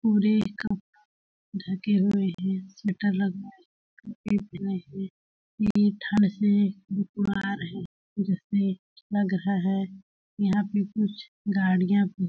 पूरे क ढके हुए हैं स्वेटर लगाए ये ठंड से आ रहे हैं जैसे लग रहा है यहां पे कुछ गाड़ियां --